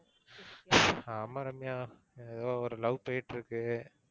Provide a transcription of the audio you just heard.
ஆமா ரம்யா. ஏதோ ஒரு love போயிட்டிருக்கு.